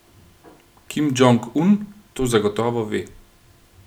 Kim Džong Un to zagotovo ve.